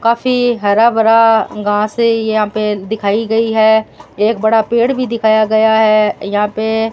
काफी हरा भरा घास है यहां पे दिखाई गई है एक बड़ा पेड़ भी दिखाया गया है यहां पे --